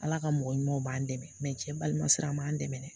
Ala ka mɔgɔ ɲumanw b'an dɛmɛ mɛ cɛ balima sira m'an dɛmɛ